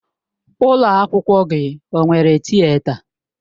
Ụlọ akwụkwọ gị ọ nwere Tịeta?